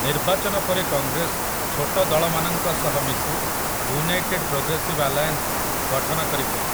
ନିର୍ବାଚନ ପରେ କଂଗ୍ରେସ ଛୋଟ ଦଳମାନଙ୍କ ସହ ମିଶି ୟୁନାଇଟେଡ୍ ପ୍ରୋଗ୍ରେସିଭ୍ ଆଲାଏନ୍ସ ଗଠନ କରିଥିଲା ।